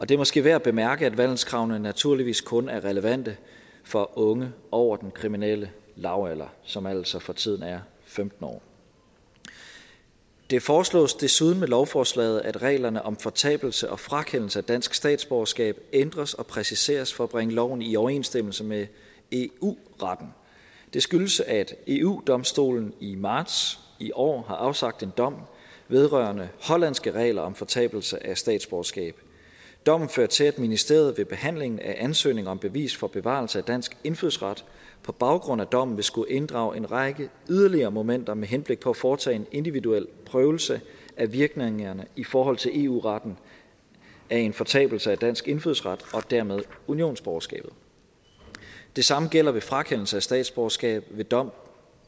det er måske værd at bemærke at vandelskravet naturligvis kun er relevant for unge over den kriminelle lavalder som altså for tiden er femten år det foreslås desuden med lovforslaget at reglerne om fortabelse og frakendelse af dansk statsborgerskab ændres og præciseres for at bringe loven i overensstemmelse med eu retten det skyldes at eu domstolen i marts i år har afsagt en dom vedrørende hollandske regler om fortabelse af statsborgerskab dommen førte til at ministeriet ved behandlingen af ansøgninger om bevis for bevarelse af dansk indfødsret på baggrund af dommen vil skulle inddrage en række yderligere momenter med henblik på at foretage en individuel prøvelse af virkningerne i forhold til eu retten af en fortabelse af dansk indfødsret og dermed unionsborgerskabet det samme gælder ved frakendelse af statsborgerskab ved dom